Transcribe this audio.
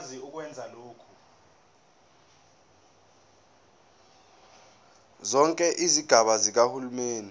zonke izigaba zikahulumeni